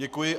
Děkuji.